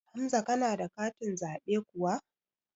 Hamza kana da katin zaɓe kuwa?